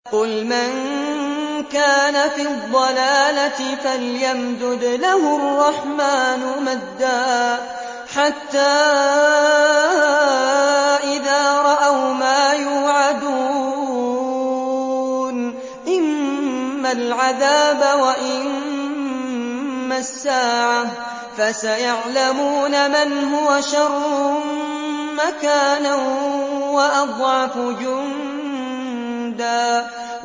قُلْ مَن كَانَ فِي الضَّلَالَةِ فَلْيَمْدُدْ لَهُ الرَّحْمَٰنُ مَدًّا ۚ حَتَّىٰ إِذَا رَأَوْا مَا يُوعَدُونَ إِمَّا الْعَذَابَ وَإِمَّا السَّاعَةَ فَسَيَعْلَمُونَ مَنْ هُوَ شَرٌّ مَّكَانًا وَأَضْعَفُ جُندًا